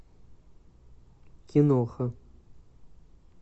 киноха